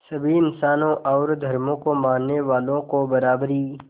सभी इंसानों और धर्मों को मानने वालों को बराबरी